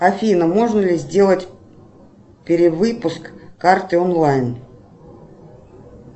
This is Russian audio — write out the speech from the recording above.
афина можно ли сделать перевыпуск карты онлайн